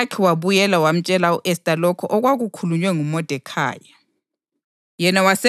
UHathakhi wabuyela wayamtshela u-Esta lokho okwakukhulunywe nguModekhayi.